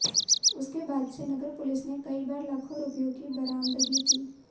उसके बाद से नगर पुलिस ने कई बार लाखों रुपयों की बरामदगी की